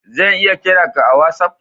Zan lya kira ka a'wassap?